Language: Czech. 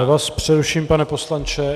Já vás přeruším, pane poslanče.